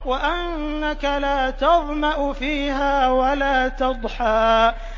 وَأَنَّكَ لَا تَظْمَأُ فِيهَا وَلَا تَضْحَىٰ